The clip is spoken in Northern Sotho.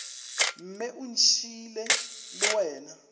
mme o ntšhiile le wena